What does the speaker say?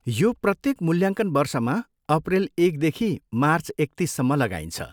यो प्रत्येक मूल्याङ्कन वर्षमा अप्रिल एकदेखि मार्च एकतिससम्म लगाइन्छ।